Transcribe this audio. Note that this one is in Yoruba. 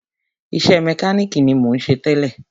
Iṣẹ́ mẹkánìkì ni mò ń ṣe tẹ́lẹ̀.